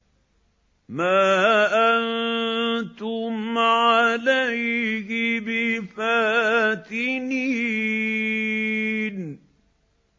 مَا أَنتُمْ عَلَيْهِ بِفَاتِنِينَ